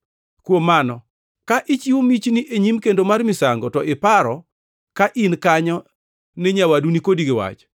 “Kuom mano, ka ichiwo michni e nyim kendo mar misango to iparo ka in kanyo ni nyawadu ni kodi gi wach,